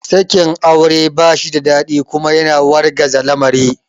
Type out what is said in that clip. Sakin aure ba shida daɗi kuma yana wargaza lamari